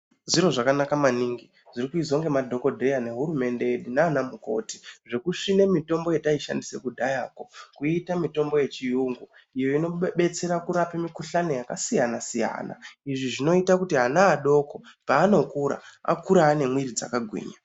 Zviro zvakanaka maningi zvirikuizwa ngemadhokodheya nehurumende naanamukoti zvekusvina mitombo yataishandisa kudhayakwo kuiita mitombo yechiyungu iyo inodetsera kurapa mikuhlani yakasiyana siyana izvi zvinoita kuti ana adoko paanokura akure ane mwiri dzakagwinya.